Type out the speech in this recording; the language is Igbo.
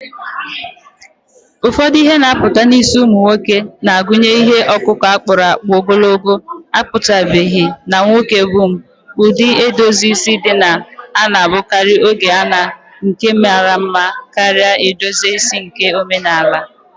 Ụfọdụ ihe na-apụta n’isi ụmụ nwoke na-agụnye ihe ọkụkụ a kpụrụ akpụ, ogologo akpụchabeghị, na nwoke bun. Ụdị edozi isi ndị a na-abụkarị oge a na nke mara mma karịa edozi isi nke omenala.